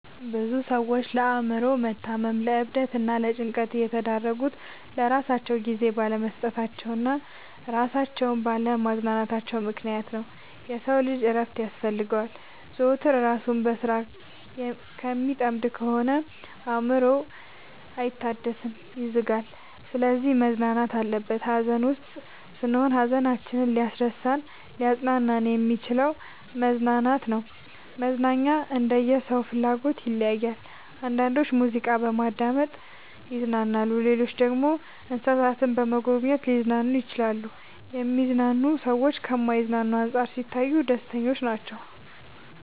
ብዙ ሰዎች ለአእምሮ መታመም ለዕብደት እና ለጭንቀት የተዳረጉት ለራሳቸው ጊዜ ባለመስጠታቸው እና እራሳቸውን ባለ ማዝናናታቸው ምክንያት ነው። የሰው ልጅ እረፍት ያስፈልገዋል። ዘወትር እራሱን በስራ ከሚጠምድ ከሆነ አእምሮው አይታደስም ይዝጋል። ስለዚህ መዝናናት አለበት። ሀዘን ውስጥ ስንሆን ሀዘናችንን ሊያስረሳን እናሊያፅናናን የሚችለው መዝናናት ነው። መዝናናኛ እንደየ ሰው ፍላጎት ይለያያል። አንዳንዶች ሙዚቃ በማዳመጥ ይዝናናሉ ሌሎች ደግሞ እንሰሳትን በመጎብኘት ሊዝናኑ ይችላሉ። የሚዝናኑ ሰዎች ከማይዝናኑት አንፃር ሲታዩ ደስተኞች ናቸው።